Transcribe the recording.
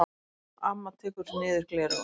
Amma tekur niður gleraugun.